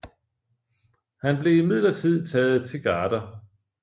Han blev imidlertid taget til garder